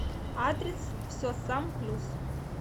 адрес все сам плюс